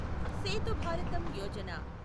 Setu Bharatam Yojana